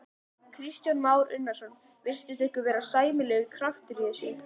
Kristján Már Unnarsson: Virtist ykkur vera sæmilegur kraftur í þessu?